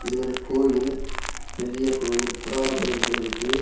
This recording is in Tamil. இது ஒரு கோயில் பெரிய கோயில் குடார கோயில் போல இருக்கு.